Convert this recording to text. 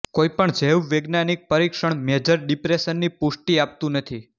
કોઇ પણ જૈવવૈજ્ઞાનિક પરિક્ષણ મેજર ડિપ્રેસનની પુષ્ટિ આપતું નથી